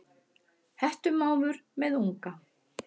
Hettumávur með unga.